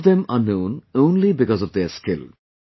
All of them are known only because of their skill